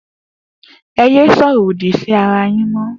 E yẹ sọrọ òdì sí ara yin mọ